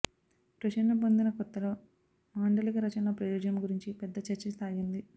ప్రచురణ పొందిన కొత్తలో మాండలిక రచనల ప్రయోజనం గురించి పెద్ద చర్చ సాగింది